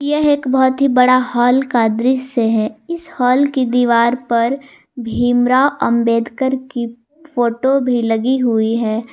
यह एक बहुत ही बड़ा हॉल का दृश्य है इस हाल की दीवार पर भीमराव अंबेडकर की फोटो भी लगी हुई है।